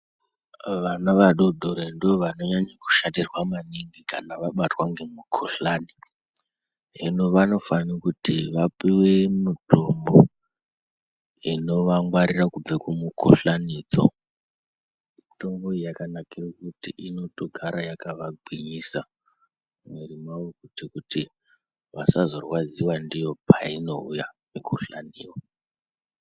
Vana vadori dori ndovanonyanye kushatirwa maningi kana vabatwa ngemukuhlani. Hino vanofanirwe kuti vapuwe mitombo inovangwarira kubva kumikuhlanidzo. Mitombo iyi yakanake kuti inotogare yakavagwinyisa miviri yavo kuite kuti vasazorwadziwa ndiyo painouya mikuhlaniyo.